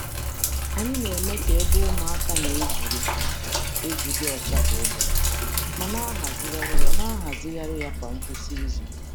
Anyị na-eme ka ebe ụmụaka na-egwuri egwu dị ọcha kwa ụbọchị, ma na-ehazigharị ya na-ehazigharị ya kwa ngwụsị izu.